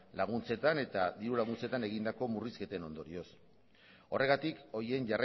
dirulaguntzetan egindako murrizketen ondorioz horregatik horien